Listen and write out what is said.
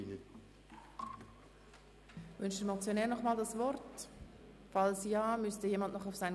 Der Motionär wünscht das Wort nochmals.